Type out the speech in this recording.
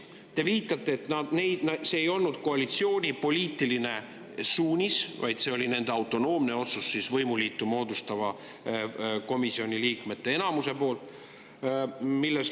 Te viitate, et see ei olnud koalitsiooni poliitiline suunis, vaid see oli Riigikogu rahanduskomisjoni autonoomne otsus, võimuliitu komisjoni enamuse poolt.